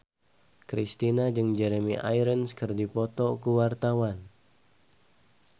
Kristina jeung Jeremy Irons keur dipoto ku wartawan